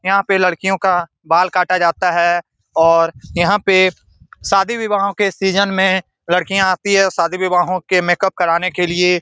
यहां पे लडकियों का बाल काटा जाता है और यहां पे शादी विवाहो के सीजन में लडकियां आती है शादी विवाहों के मेकप कराने के लिए।